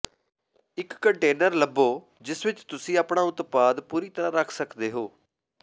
ਇਕ ਕੰਟੇਨਰ ਲੱਭੋ ਜਿਸ ਵਿਚ ਤੁਸੀਂ ਆਪਣਾ ਉਤਪਾਦ ਪੂਰੀ ਤਰ੍ਹਾਂ ਰੱਖ ਸਕਦੇ ਹੋ